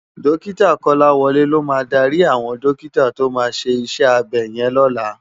Dòkitá Kolawole ló má dàri áwòn dòkitá tó má ṣé iṣè ábè yèn lòlá